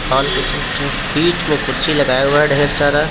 ओर बीच में कुर्सी लगाया हुआ है ढेर सारा.